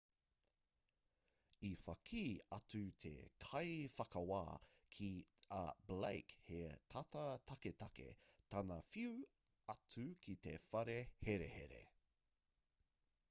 i whakī atu te kaiwhakawā ki a blake he tata taketake tana whiu atu ki te whare herehere